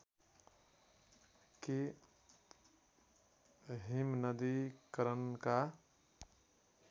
कि हिमनदीकरणका